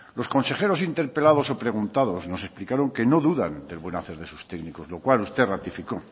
los consejeros interpelados o preguntados nos explicaron que no dudan del buen hacer de sus técnicos lo cual usted ratifico